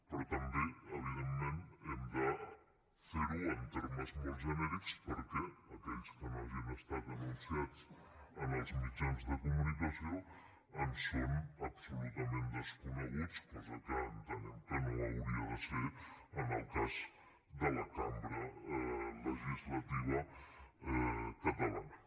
però també evidentment hem de fer ho en termes molt genèrics perquè aquells que no hagin estat anunciats en els mitjans de comunicació ens són absolutament desconeguts cosa que entenem que no hauria de ser en el cas de la cambra legislativa catalana